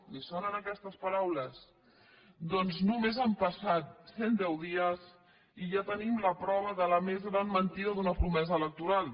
li sonen aquestes paraules doncs només han passat cent deu dies i ja tenim la prova de la més gran mentida d’una promesa electoral